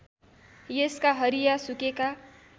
यसका हरिया सुकेका